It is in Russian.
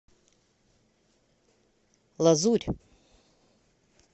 лазурь